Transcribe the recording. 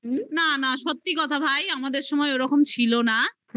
না না. সত্যি কথা ভাই. আমাদের সময় ওরকম ছিল না হ্যাঁ